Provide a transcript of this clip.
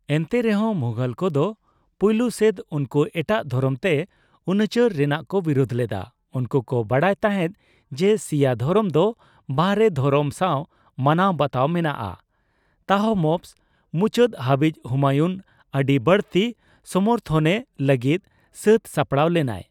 ᱮᱱᱛᱮᱨᱮᱦᱚᱸ ᱢᱩᱜᱷᱚᱞ ᱠᱚᱫᱚ ᱯᱳᱭᱞᱳ ᱥᱮᱫ ᱩᱱᱠᱩ ᱮᱴᱟᱜ ᱫᱷᱚᱨᱚᱢ ᱛᱮ ᱩᱱᱩᱪᱟᱹᱨ ᱨᱮᱱᱟᱜ ᱠᱚ ᱵᱤᱨᱩᱫᱽ ᱞᱮᱫᱟ, ᱩᱱᱠᱩ ᱠᱚ ᱵᱟᱰᱟᱭ ᱛᱟᱦᱮᱫ ᱡᱮ ᱥᱤᱭᱟ ᱫᱷᱚᱨᱚᱢ ᱫᱚ ᱵᱟᱦᱨᱮ ᱫᱷᱚᱨᱚᱢ ᱥᱟᱣ ᱢᱟᱱᱟᱣ ᱵᱟᱛᱟᱣ ᱢᱮᱱᱟᱜᱼᱟ ᱾ ᱛᱟᱦᱢᱟᱯᱥ ᱢᱩᱪᱟᱹᱫ ᱦᱟᱹᱵᱤᱡ ᱦᱩᱢᱟᱭᱩᱱ ᱟᱰᱤ ᱵᱟᱹᱲᱛᱤ ᱥᱚᱢᱚᱨᱛᱦᱚᱱᱮ ᱞᱟᱜᱤᱫ ᱥᱟᱹᱛ ᱥᱟᱯᱲᱟᱣ ᱞᱮᱱᱟᱭ ᱾